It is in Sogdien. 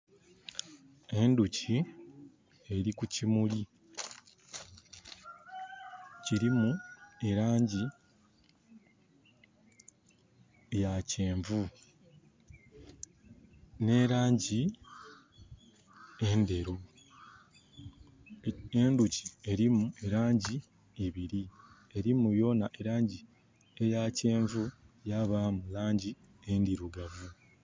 Endhuki eri ku kimuli, kilimu e langi ya kyenvu n'elangi endheru. Enduki erimu langi ibiri, erimu yonha e langi eya kyenvu yabaamu langi endirugavu.